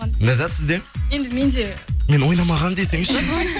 ләззат сізде енді менде мен ойнамағанмын десеңізші